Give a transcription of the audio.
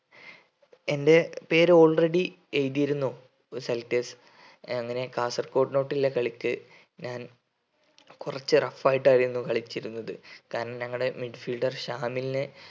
എൻ്റെ പേര് already എഴുതിയിരുന്നു selectors അങ്ങനെ കാസർഗോഡ്നോട്ടുള്ള കളിക്ക് ഞാൻ കുറച്ച് rough ആയിട്ടായിരുന്നു കളിച്ചിരുന്നത് കാരണം ഞങ്ങടെ midfielder ശാമിലിനെ